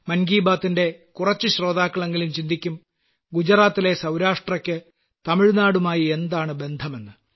മൻ കീ ബാത്തിലെ കുറച്ചു ശ്രോതാക്കളെങ്കിലും ചിന്തിക്കും ഗുജറാത്തിലെ സൌരാഷ്ട്രക്ക് തമിഴ്നാടുമായി എന്താണു ബന്ധമെന്ന്